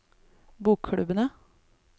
bokklubbene